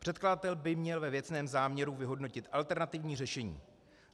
Předkladatel by měl ve věcném záměru vyhodnotit alternativní řešení.